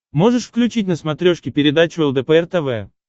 можешь включить на смотрешке передачу лдпр тв